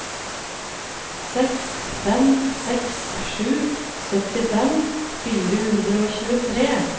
seks fem seks sju syttifem fire hundre og tjuetre